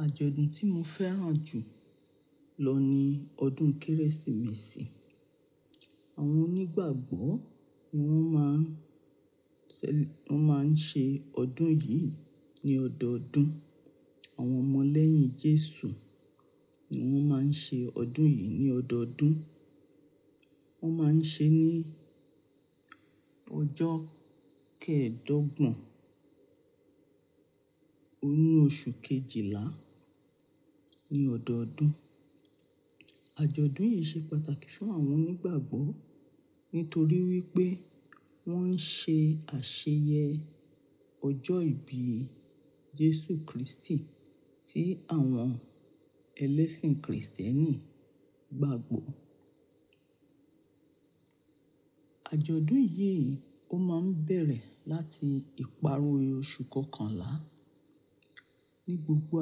Àjọ̀dún tí mo fẹ́ràn jù lọ ni ọdún Kérésìmesì. Àwọn onígbàgbọ́ ni wọ́n máa ń ṣẹ-- wọ́n máa ń ṣe ọdún yìí ní ọdọọdún. Àwọn ọmọ lẹ́yìn Jésù ni wọ́n máa ń ṣe ọdún yìí ní ọdọọdún. Wọ́n máa ń ṣe ní ọjọ́ kẹ̀ẹ̀dọ́gbọ̀n, ní oṣù kejìlá ní ọdọọdún. Àjọ̀dún yìí ṣe pàtàkì fún àwọn onígbàgbọ́ nítorí wípé wọ́n ń ṣe àṣeyẹ ọjọ́ ìbí Jésù Kristi tí àwọn ẹlẹ́sìn kìrìsìtẹ́nì gbagbọ́. Àjọ̀dún yìí ó máa ń bẹ̀rẹ̀ láti ìparí oṣù kọkànlá. Ni gbogbo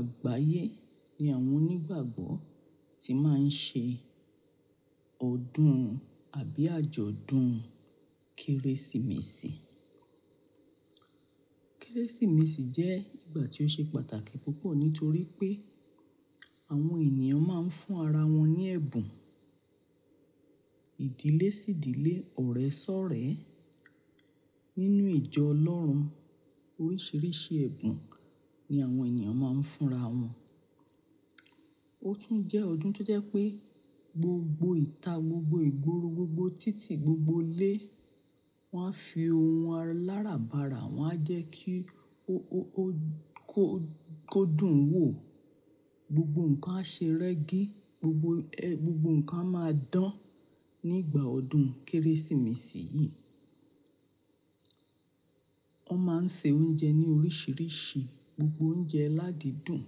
àgbáyé ni àwọn onígbàgbọ́ ti máa ń ṣe ọdún àbí àjọ̀dún Kérésìmesì. Kérésìmesì jẹ́ ìgbà tí ó ṣe pàtàkì púpọ̀ nítorí pé àwọn ènìyàn máa ń fún ara wọn ní ẹ̀bùn. Ìdílé sí ìdílé, ọ̀rẹ́ sọ̀rẹ́ nínú ìjọ Ọlọ́run. Oríṣiríṣi ẹ̀bùn ni àwọn èeyàn máa ń fúnra wọn. Ó tún jẹ́ ọdún tó jẹ́ pé gbogbo ìta, gbogbo ìgboro, gbogbo títì, gbogbo ilé wọ́n á fi ohun aláràbarà wọ́n á jẹ́ kí ó, ó, ó kó, kódùn wò. Gbogbo nǹkan á ṣe rẹ́gí. Gbogbo gbogbo nǹkan a máa dán nígbà ọdún Kérésìmesì yìí. Wọ́n máa ń ṣe oúnjẹ ní oríṣiríṣi. Gbogbo oúnjẹ ládidùn.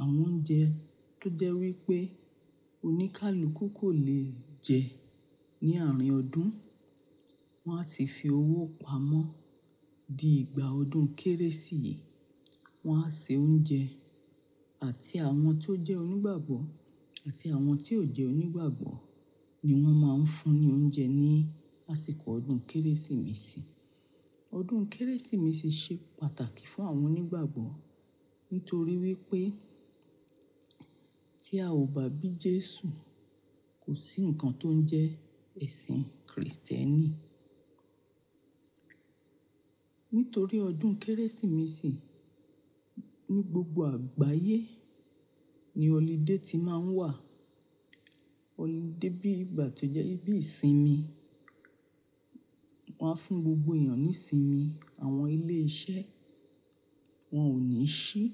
Àwọn oúnjẹ tó jẹ́ wípé oníkálukú kò le jẹ ní àárín ọdún, wọ́n á ti fi owó pamọ́ di ìgbà ọdún Kérésì yìí, wọ́n á se oúnjẹ àti àwọn tó jẹ́ onígbàgbọ́ àti àwọn tí ò jẹ́ onígbàgbọ́ ni wọ́n máa ń fún ní oúnjẹ ní àsìkò ọdún Kérésìmesì. Ọdún Kérésìmesì ṣe pàtàkì fún àwọn onígbàgbọ́ nítorí wípé tí a ò bàbí Jésù, kò sí nǹkan tó ń jẹ́ ẹ̀sìn kìrìsìtẹ́nì. Nítorí ọdún Kérésìmesì ní gbogbo àgbáyé ni holiday ti máa ń wà. Holiday bí ìgbà tí ó jẹ́ bí ìsinmi. Wọn á fún gbogbo èèyàn ní sinmi. Àwọn ilé iṣẹ́ wọ́n ò ní sí.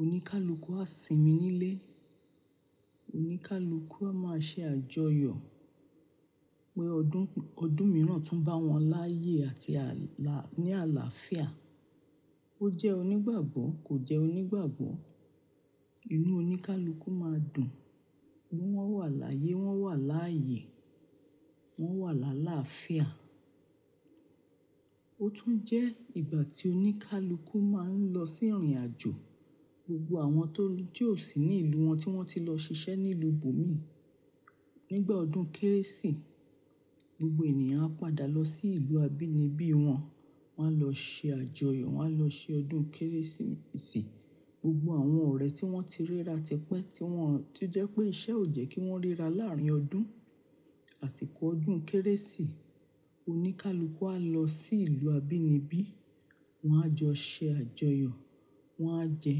Oníkálukú á sinmi nílé. Oníkálukú á máa ṣe àjọyọ̀ pé ọdún, ọdún mìíràn tún bá wọn láyé àti alá ní àlàáfíà. Ó jẹ́ onígbàgbọ́, kò jẹ́ onígbàgbọ́, inú oníkálukú máa dùn. Bí wọ́n wà láyé, wọ́n wà láàyè, wọ́n wà láàlàáfíà. Ó tún jẹ́ ìgbà tí oníkálukú máa ń lọ sí ìrìnàjò. Gbogbo àwọn tó tí ò ṣì ní ìlú wọn tí wọ́n ti lọ ṣiṣẹ́ ní ìlú ibomi, nígbà ọdún Kérésì, gbogbo ènìyàn á padà lọ sí ìlú abínibí wọn. Wọn á lọ ṣe àjọyọ̀, wọ́n á lọ ṣe ọdún Kérésìmesì. Gbogbo àwọn ọ̀rẹ́ tí wọ́n ti ríra tẹpẹ́ tí wọ́n-- to jẹ́ pé iṣẹ́ ò jẹ́ kí wọ́n ríra láàrin ọdún, àsìkò ọdún Kérésì, oníkálukú á lọ sí ìlú abínibí, wọ́n á jọ ṣe àjọyọ̀, wọ́n á jẹ,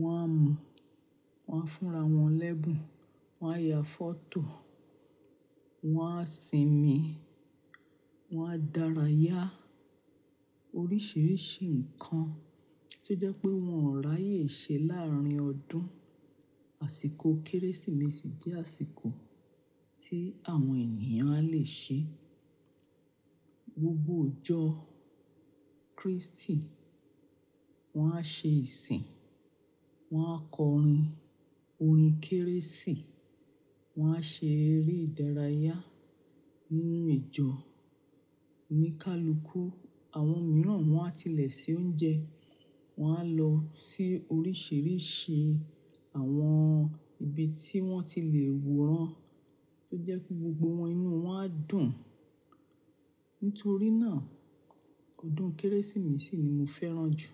wọ́n á mu, wọ́n á fúnrawọn lẹ́bùn, wọ́n á ya fọ́tò, wọ́n á sinmi, wọ́n á dárayá. Oríṣiríṣi nǹkan tí ó jẹ́ pé wọn ò ráyè ṣe láàrin ọdún. Àsìkò Kérésìmesì jẹ́ àsìkò tí àwọn ènìyàn le ṣe gbogbo ọjọ́ Kristi, wọ́n á ṣe ìsìn, wọ́n á kọrin orin Kérésì, wọ́n á ṣe eré ìdárayá nínú ìjọ oníkálukú. Àwọn mìíràn wọ́n á tilẹ̀ ṣe oúnjẹ, wọ́n á lọ sí oríṣiríṣi àwọn ibi tí wọ́n ti le wòran tó jẹ́ pé gbogbo wọn, inú wọn á dùn. Nítorí náà, ọdún Kérésìmesì ni mo fẹ́ràn jù.